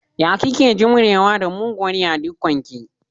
Ya kike jimrewa da muguwar yadikon ki?